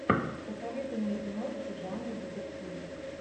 посоветуй мне киношку жанра детектив